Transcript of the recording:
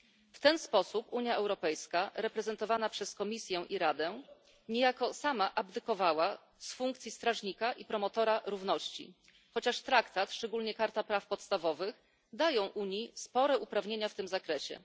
W ten sposób Unia Europejska, reprezentowana przez Komisję i Radę, niejako sama abdykowała z funkcji strażnika i promotora równości, chociaż Traktat, szczególnie Karta praw podstawowych, daje Unii spore uprawnienia w tym zakresie.